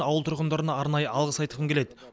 ауыл тұрғындарына арнайы алғыс айтқым келеді